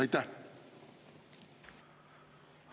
Aitäh!